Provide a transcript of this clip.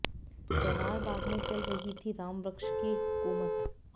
जवाहर बाग में चल रही थी रामवृक्ष की हुकूमत